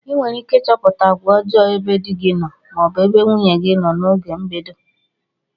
ịnwerike ichọpụta agwa ọjo ebe di gi noo ma ọ bụ nwunye gi na oge mbedo.